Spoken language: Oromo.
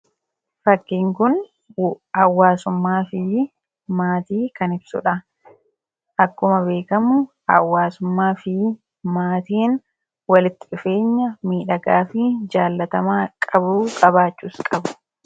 Fakkiin kun hawaasummaa fi maatii kan ibsudha. Akkuma beekamu hawaasummaa fi maatiin walitti dhufeenya miidhagaa fi jaallatamaa qabuu; qabaachuus qabu.